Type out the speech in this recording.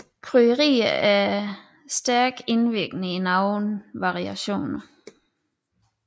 Krydderier er stærkt indvirkende i nogle variationer